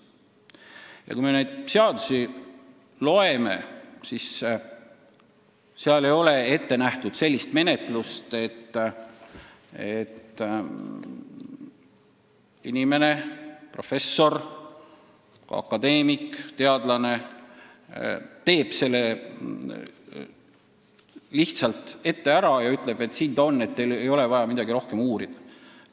Ja kui me neid seadusi loeme, siis näeme, et seal ei ole ette nähtud sellist menetlust, et mõni inimene – professor, akadeemik, teadlane – teeb selle lihtsalt ära ja ütleb, et siin ta on, teil ei ole vaja midagi rohkem uurida.